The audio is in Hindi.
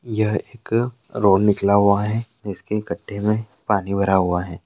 यह एक अ रोड निकला हुआ है इसके गड्ढे मे पानी भरा हुआ है।